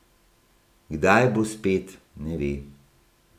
Kdaj bo spet, ne ve.